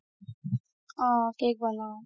অ cake বনাও